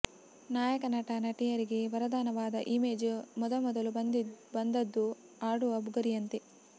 ನಾಯಕ ನಟ ನಟಿಯರಿಗೆ ವರದಾನವಾದ ಇಮೇಜ್ ಮೊದಮೊದಲು ಬಂದದ್ದು ಆಡುವ ಬುಗುರಿಯಂತೆ